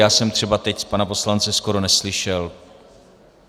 Já jsem třeba teď pana poslance skoro neslyšel.